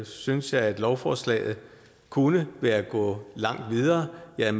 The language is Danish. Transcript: synes jeg at lovforslaget kunne være gået langt videre jeg er